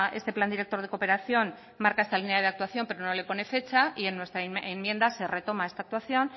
este plan director de cooperación marca esta línea de actuación pero no le pone fecha y en nuestra enmienda se retoma esta actuación